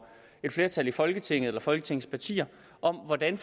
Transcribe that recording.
et flertal i folketinget eller folketingets partier om hvordan